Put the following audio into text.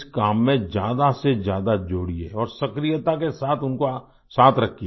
इस काम में ज्यादा से ज्यादा जोड़िये और सक्रियता के साथ उनको साथ रखिये